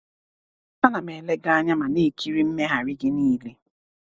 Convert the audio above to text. A na m ele gị anya ma na-ekiri mmegharị gị niile.